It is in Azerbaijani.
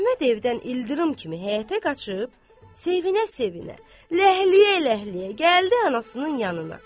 Əhməd evdən ildırım kimi həyətə qaçıb, sevinə-sevinə, ləhləyə-ləhləyə gəldi anasının yanına.